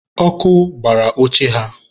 ọkụ gbara oche ha